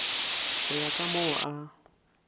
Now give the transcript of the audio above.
go ya ka moo a